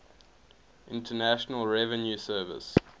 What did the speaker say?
internal revenue service